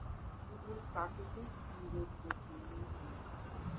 কেবল প্রাকৃতিক সৌন্দর্যের জন্য বিখাত